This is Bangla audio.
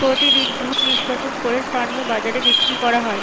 প্রতিদিন দুধ নিষ্কাশন করে স্থানীয় বাজারে বিক্রি করা হয়।